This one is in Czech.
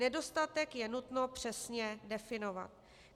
Nedostatek je nutno přesně definovat.